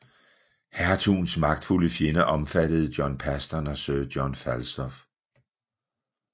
Hertugens magtfulde fjender omfattede John Paston og Sir John Fastolf